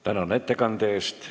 Tänan ettekande eest!